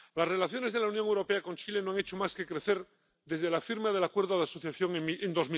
Las relaciones de la Unión Europea con Chile no han hecho más que crecer desde la firma del Acuerdo de Asociación en